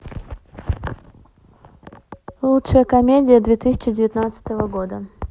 лучшая комедия две тысячи девятнадцатого года